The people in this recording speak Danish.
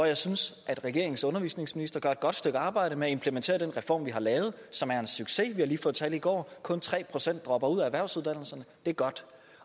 jeg synes at regeringens undervisningsminister gør et godt stykke arbejde med at implementere den reform vi har lavet og som er en succes vi har lige fået tal i går kun tre procent dropper ud af erhvervsuddannelserne det er godt